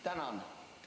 Tänan!